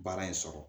Baara in sɔrɔ